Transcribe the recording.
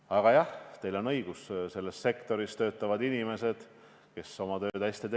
Aga jah, teil on õigus, et selles sektoris töötavad inimesed, kes teevad oma tööd hästi.